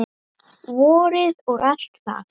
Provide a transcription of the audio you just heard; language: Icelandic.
Vorið og allt það.